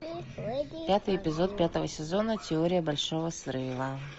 пятый эпизод пятого сезона теория большого взрыва